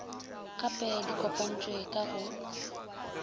gep di kopantšhwe ka go